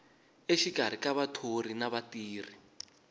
exikarhi ka vathori na vatirhi